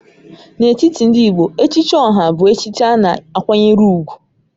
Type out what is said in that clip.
N'etiti ndị Igbo, Echichi Oha bụ echichi a na-akwanyere ùgwù